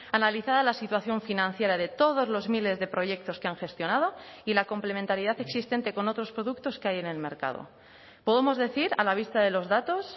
analizada la situación financiera de todos los miles de proyectos que han gestionado y la complementariedad existente con otros productos que hay en el mercado podemos decir a la vista de los datos